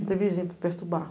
Não tem vizinho para perturbar.